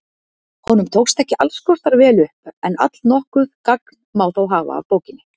Honum tókst ekki alls kostar vel upp en allnokkuð gagn má þó hafa af bókinni.